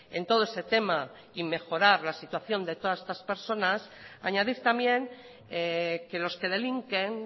en todo ese tema y mejorar la situación de todas estas personas añadir también que los que delinquen